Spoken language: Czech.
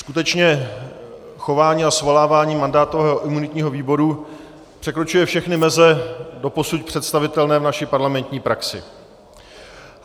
Skutečně chování a svolávání mandátového a imunitního výboru překračuje všechny meze doposud představitelné v naší parlamentní praxi.